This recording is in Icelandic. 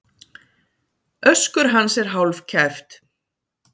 Öskur hans er hálfkæft.